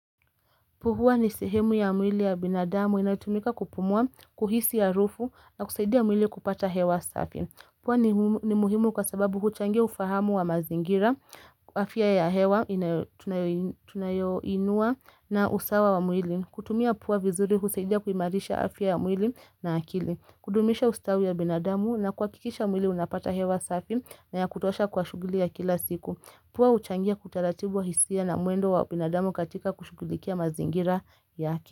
Puhua nisehemu ya mwili ya binadamu inayotumika kupumua, kuhisi harufu na kusaidia mwili kupata hewa safi. Pua ni muhimu kwa sababu huchangia ufahamu wa mazingira, afia ya hewa, tunayoinua na usawa wa mwili. Kutumia pua vizuri husaidia kuimarisha afia ya mwili na akili. Kudumisha ustawi wa binadamu na kuakikisha mwili unapata hewa safi na ya kutosha kwa shuguli ya kila siku. Pua huchangia utaratibu wa hisia na muendo wa binadamu katika kushugulikia mazingira yake.